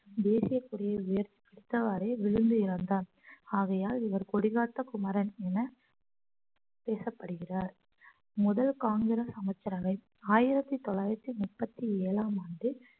தேசிய கொடியை உயர்த்தி பிடித்தவாறே விழுந்து இறந்தார் ஆகையால் இவர் கொடிகாத்த குமரன் என பேசப்படுகிறார் முதல் காங்கிரஸ் அமைச்சரவை ஆயிரத்தி தொள்ளாயிரத்தி முப்பத்தி ஏழாம் ஆண்டு